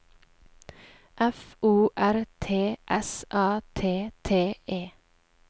F O R T S A T T E